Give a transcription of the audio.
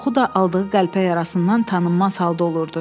Çoxu da aldığı qəlpə yarasından tanınmaz halda olurdu.